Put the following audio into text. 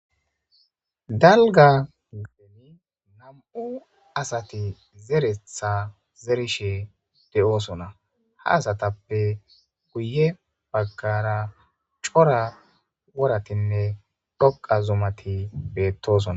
dalga peni nam7u asati zeretha zerishe de7oosona haasatappe guye baggara cora woratinne dhoqa zumati beettosona